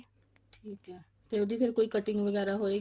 ਠੀਕ ਐ ਤੇ ਫੇਰ ਉਹਦੀ cutting ਵਗੈਰਾ ਹੋਏਗੀ